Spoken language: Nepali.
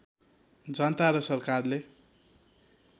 जनता र सरकारले